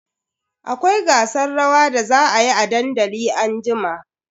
Akwai gasar rawa da za a yi a dandali anjima.